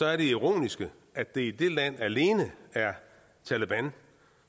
er det ironiske at det i det land alene er taleban